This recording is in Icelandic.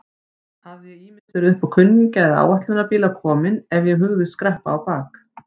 Hafði ég ýmist verið uppá kunningja eða áætlunarbíla kominn ef ég hugðist skreppa á bak.